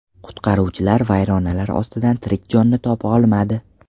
Qutqaruvchilar vayronalar ostida tirik jonni topa olmadi.